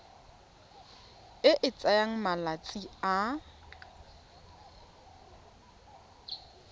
e e tsayang malatsi a